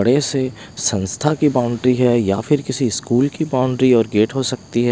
बड़े से संस्था की बाउंड्री है या फिर किसी स्कूल की बाउंड्री और गेट हो सकती है।